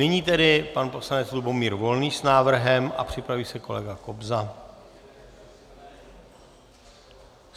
Nyní tedy pan poslanec Lubomír Volný s návrhem a připraví se kolega Kobza.